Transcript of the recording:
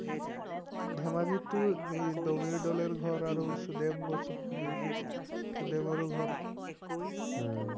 ধেমাজিতটো এই বগিদলৰ ঘৰ আৰু সুদেমৰো ঘৰ উম